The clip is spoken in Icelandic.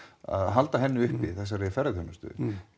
halda henni uppi þessari ferðaþjónustu